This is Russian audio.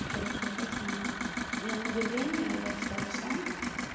и короче играть я не могу я на удивление я вчера зашла